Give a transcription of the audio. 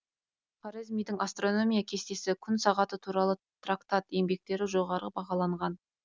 хорезмидің астрономия кестесі күн сағаты туралы трактат еңбектері жоғары бағаланған